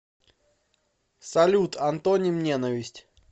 салют антоним ненависть